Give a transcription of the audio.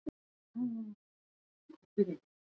Í öðru var geymt ýmis konar dót, skotfæri, kex og fleira.